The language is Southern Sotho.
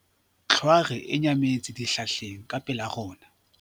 Tlhware e nyametse dihlahleng ka pela rona.